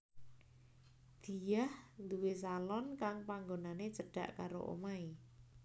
Diah nduwé salon kang panggonané cedhak karo omahé